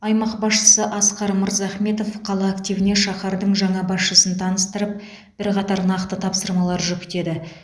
аймақ басшысы асқар мырзахметов қала активіне шаһардың жаңа басшысын таныстырып бірқатар нақты тапсырмалар жүктеді